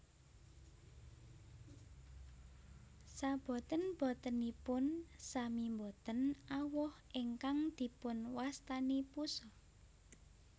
Saboten botenipun sami boten awoh ingkang dipun wastani pusa